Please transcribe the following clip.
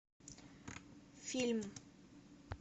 фильм